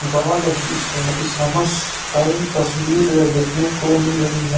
God इस्ह इसामस काई तस्वीर देखने को मिल रही है।